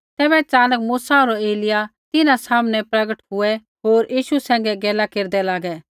तैबै च़ानक मूसा होर एलिय्याह तिन्हां सामनै प्रगट हुऐ होर यीशु सैंघै गैला केरदै लागै